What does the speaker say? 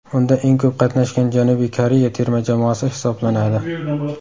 Unda eng ko‘p qatnashgan Janubiy Koreya terma jamoasi hisoblanadi.